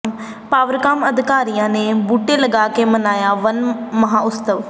ਪਾਵਰਕਾਮ ਅਧਿਕਾਰੀਆਂ ਨੇ ਬੂਟੇ ਲਗਾ ਕੇ ਮਨਾਇਆ ਵਣ ਮਹਾਂਉਤਸਵ